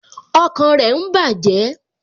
Ọkàn rẹ ń bàjẹ́